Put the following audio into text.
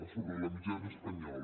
sobre la mitjana espanyola